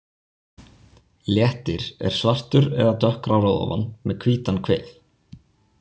Léttir er svartur eða dökkgrár að ofan með hvítan kvið.